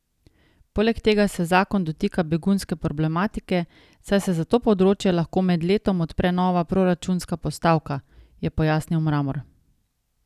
Poleg tega se zakon dotika begunske problematike, saj se za to področje lahko med letom odpre nova proračunska postavka, je pojasnil Mramor.